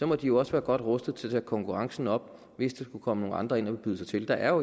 må de jo også være godt rustet til at tage konkurrencen op hvis der skulle komme nogle andre ind og byde sig til der er jo